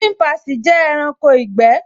Ṣínpasì jẹ́ ẹranko ìgbẹ́